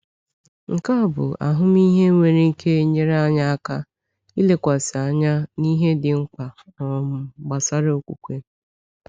Nke a bụ ahụmịhe nwere ike nyere anyị aka ilekwasị anya n’ihe dị mkpa um gbasara okwukwe.